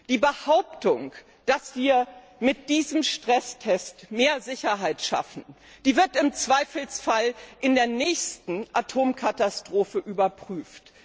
Die Behauptung, dass wir mit diesem Stresstest mehr Sicherheit schaffen, wird im Zweifelsfall bei der nächsten Atomkatastrophe überprüft.